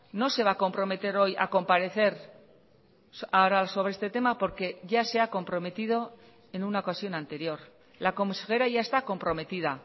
no se va a comprometer hoy a comparecer ahora sobre este tema porque ya se ha comprometido en una ocasión anterior la consejera ya está comprometida